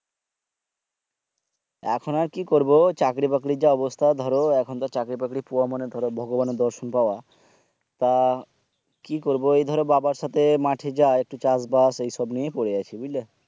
তাছাড়া আর কি করবো চাকরি বাকরির যা অবস্থা ধরো এখন চাকরি বাকরি পুওইয়া মানে ধরো ভগবানের দর্শন পাওয়া তা কি করবো এই ধরো বাবার সাথে মাঠে যাই একটু চাষ বাস এইসব নিয়েই পরে আছি বুজলা